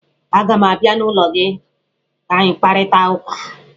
Aga m abịa n'ụlọ gị ka anyị kparịta ụka